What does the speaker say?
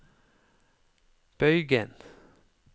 bøygen